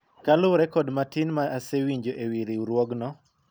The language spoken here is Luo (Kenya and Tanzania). kaluwore kod matin ma asewinjo ewi riwruogno